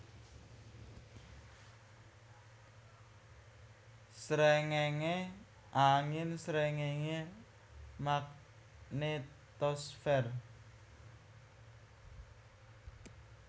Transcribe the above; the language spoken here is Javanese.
Sréngéngé angin Sréngéngé magnetosfer